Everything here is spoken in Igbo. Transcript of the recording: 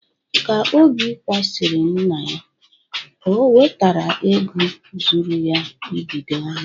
Ka Obi kwasịrị nna ya, o nwetara ego zuru ya ibido ahịa.